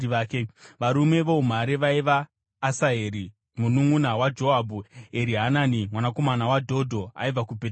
Varume voumhare vaiva: Asaheri mununʼuna waJoabhu, Erihanani mwanakomana waDhodho aibva kuBheterehema.